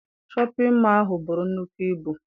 Shọpịn mọọ ahụ buru nnukwu ibu.